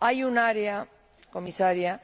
Hay un área, señora Comisaria,